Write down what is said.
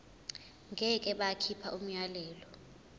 ngeke bakhipha umyalelo